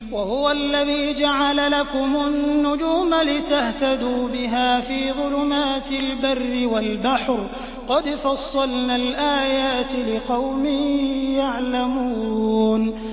وَهُوَ الَّذِي جَعَلَ لَكُمُ النُّجُومَ لِتَهْتَدُوا بِهَا فِي ظُلُمَاتِ الْبَرِّ وَالْبَحْرِ ۗ قَدْ فَصَّلْنَا الْآيَاتِ لِقَوْمٍ يَعْلَمُونَ